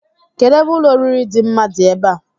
Kedụ ebe ụlọoriri dị mma dị ebe a?